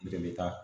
Bɛɛ bɛ taa